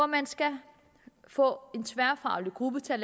man skal få en tværfaglig gruppe til at